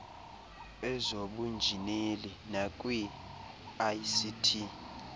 ezobunjineli nakwi ict